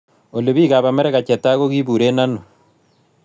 Olly piikap amerika che tai ko kiburen aino